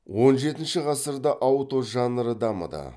он жетінші ғасырда ауто жанры дамыды